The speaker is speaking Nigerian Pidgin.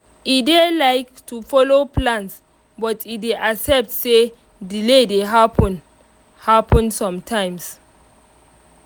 e dey like to follow plans but e dey accept say delay dey happen happen sometimes